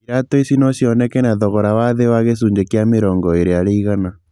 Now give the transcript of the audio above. Iratũ ici no cioneke na thogora wa thĩ wa gĩcunjĩ kĩa mĩrongo ĩĩrĩ harĩ igana.